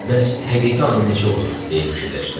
Bəs həqiqi ana necə olur, deyə fikirləşdim.